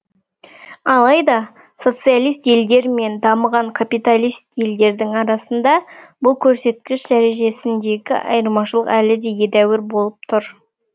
алайда социалист елдер мен дамыған капиталист елдердің арасында бұл көрсеткіш дәрежесіндегі айрмашылық әлі де едәуір болып тур